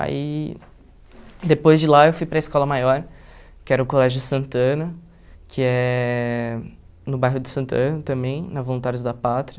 Aí depois de lá eu fui para a escola maior, que era o Colégio Santana, que é no bairro de Santana também, na Voluntários da Pátria.